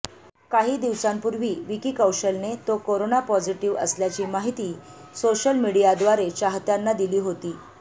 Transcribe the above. काही दिवसांपूर्वी विकी कौशलने तो करोना पॉझिटिव्ह आल्याची माहिती सोशल मीडियाद्वारे चाहत्यांना दिली होती